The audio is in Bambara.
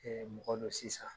mɔgɔ dɔ sisan,